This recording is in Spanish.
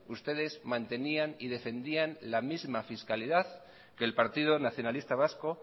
ustedes mantenían y defendían la misma fiscalidad que el partido nacionalista vasco